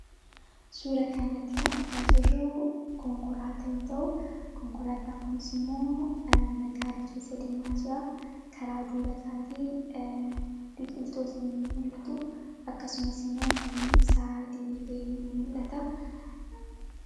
suura kana iratti kan argaa jirruu konkolaataayoo ta'u konkolaataankunis immoo magaala keessa deemaa jira karaa duuba isaatii biqiltuunis nii mul'atu akkasumas immoo humni ibsaa diriiree ni mul'ata